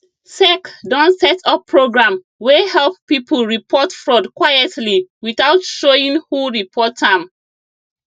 sec don set up program wey help people report fraud quietly without showing who report am